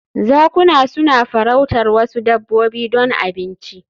Zakuna suna farautar wasu dabbobi don abinci